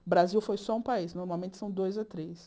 O Brasil foi só um país, normalmente são dois ou três.